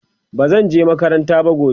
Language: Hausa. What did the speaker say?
bazan je makaranta gobe ba